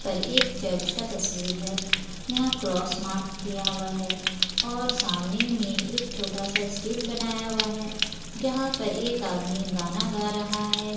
और एक चर्च का तस्वीर है यहाँ क्रॉस-मार्क किया हुआ है और सामने में एक छोटा-सा स्टेज बनाया हुआ है जहां पर एक आदमी गाना गा रहा है।